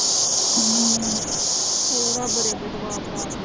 ਹੋਰ ਆ ਬੜੇ